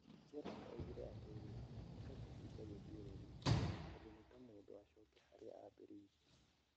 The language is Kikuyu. Gerrard oigire atĩrĩrĩ nĩtakũhinga gĩthiũrũrĩ, tondũ nĩta mũndũ acoke harĩa aambĩrĩirie.